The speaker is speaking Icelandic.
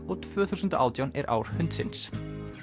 og tvö þúsund og átján er ár hundsins